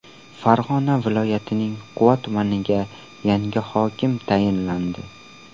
Farg‘ona viloyatining Quva tumaniga yangi hokim tayinlandi.